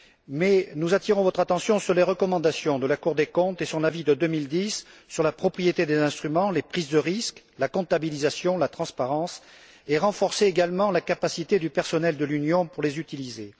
Mais nous attirons votre attention sur les recommandations de la Cour des comptes et son avis de 2010 sur la propriété des instruments, les prises de risques, la comptabilisation, la transparence, et le renforcement de la capacité du personnel de l'Union à les utiliser.